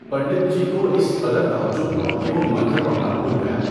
پنڈت جی کو اس قدر تعجب ہوا کہ وہ منتر پڑھنا بھول گیا۔